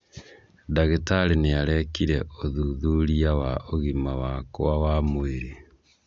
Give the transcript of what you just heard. Ndagĩtarĩ nĩarekire ũthuthuria wa ũgima wakwa wa mwĩrĩ.